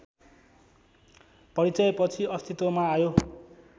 परिचयपछि अस्तित्वमा आयो